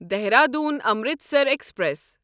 Dehradun Amritsar express